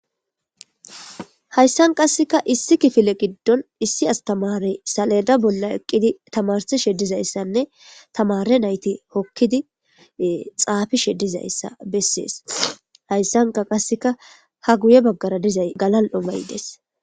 Hayssan qasseka issi kifile giddon issi astamarey saleda bolla eqqidi tamarsi sheddizayssanne tamare nayti hokkidi xaafi sheddizayssa bessees hayssanka qasseka ha guye baggara dizay galal'omaydes.